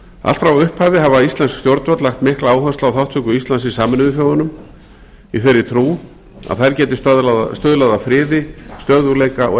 allt frá upphafi hafa íslensk stjórnvöld lagt mikla áherslu á þátttöku íslands í sameinuðu þjóðunum í þeirri trú að þær geti stuðlað að friði stöðugleika og